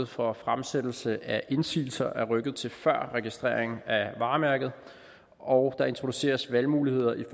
for fremsættelse af indsigelser er rykket til før registreringen af varemærket og der introduceres valgmuligheder i